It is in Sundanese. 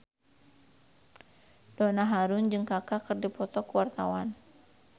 Donna Harun jeung Kaka keur dipoto ku wartawan